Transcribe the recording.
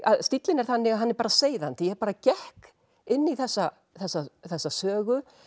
stíllinn er þannig að hann er bara seiðandi ég bara gekk inn í þessa þessa þessa sögu